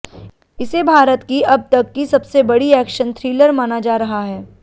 इसे भारत की अब तक की सबसे बड़ी एक्शन थ्रिलर माना जा रहा है